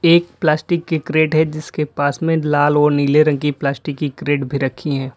एक प्लास्टिक के क्रेट है जिसके पास में लाल और नीले रंग की प्लास्टिक की क्रेट भी रखी है।